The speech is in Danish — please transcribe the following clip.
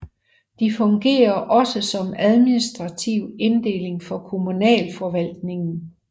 De fungerer også som administrativ inddeling for kommunalforvaltningen